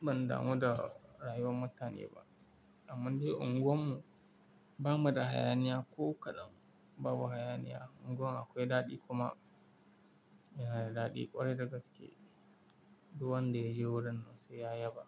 ban damu da rayuwar mutane ba. Amman dai unguwar mu ba mu da hayaniya ko kaɗan. Babu hayaniya, unguwar akwai daɗi kuma yana da daɗi ƙwarai da gaske. Duk wanda yaje wurin nan sai ya yaba.